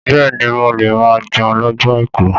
Bẹ́ẹ̀ ni, mo máa ń jẹun lọ́jọ́ àìkú.